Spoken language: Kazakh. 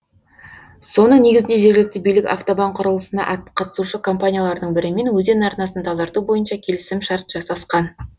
соның негізінде жергілікті билік автобан құрылысына қатысушы компаниялардың бірімен өзен арнасын тазарту бойынша келісімшарт жасасқан